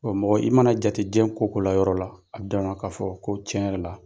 mɔgɔ i mana jatejɛ jiyɛn ko o ko la yɔrɔ la a danŋa k'a fɔ ko tiɲɛ yɛrɛ la.